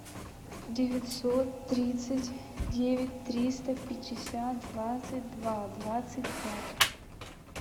девятьсот тридцать девять триста пятьдесят двадцать два двадцать пять